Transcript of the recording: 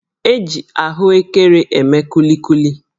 E ji ahụekere eme kulikuli